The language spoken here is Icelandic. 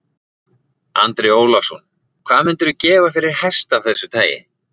Andri Ólafsson: Hvað myndirðu gefa fyrir hest af þessu tagi?